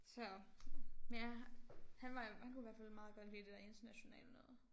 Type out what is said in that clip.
Så men ja han var han kunne i hvert fald meget godt lide det der internationale noget